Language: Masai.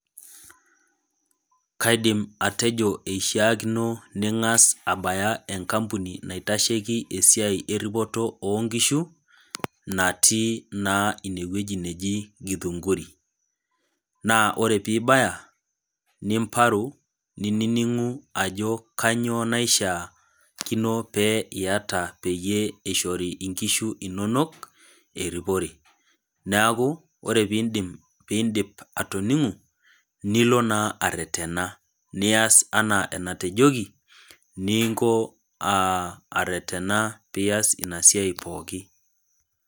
Kaidim atejo keishaakino ning'as abaya enkampuni naitasheiki esiai eripoto oo inkishu, natii naa ine wueji neji Githunguri. Naa ore pee ibaya, nimparu, ninining'u ajo kainyoo naishaakino peyie iata peyie eishori inkishu inono eripore, neaku ore pee indip atoning'u, nilo naa aretena, nias anaa enatejoki, ninko aretena pias ina siai pooki.